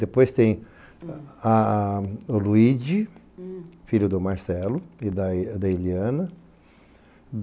Depois tem o Luide, filho do Marcelo e da Iliana.